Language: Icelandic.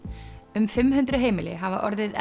um fimm hundruð heimili hafa orðið